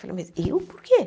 Falei, mas eu por quê?